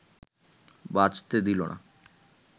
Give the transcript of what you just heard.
বাঁচতে দিলো না